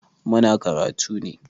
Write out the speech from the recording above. Muna karatu ne.